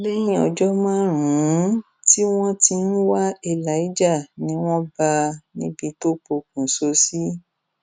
lẹyìn ọjọ márùnún tí wọn ti ń wá elijah ni wọn bá a níbi tó pokùṣọ sí